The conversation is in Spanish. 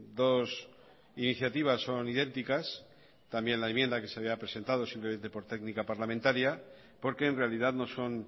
dos iniciativas son idénticas también la enmienda que se había presentado simplemente por técnica parlamentaria porque en realidad no son